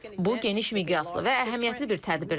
Bu geniş miqyaslı və əhəmiyyətli bir tədbirdir.